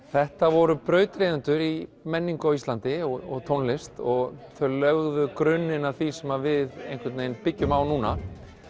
þetta voru brautryðjendur í menningu á Íslandi og tónlist þau lögðu grunninn að því sem við byggjum á núna